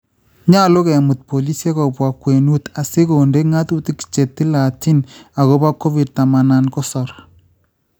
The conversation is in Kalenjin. Nyolu kemut boliisyek kobwa kwenuut asi kondee Ng'atuutik che tilaatiin agopo kovid taman ak sogol